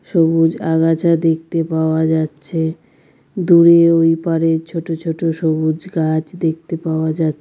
সবুজ আগাছা দেখতে পাওয়া যাচ্ছে দূরে ওই পারে ছোট ছোট সবুজ গাছ দেখতে পাওয়া যা--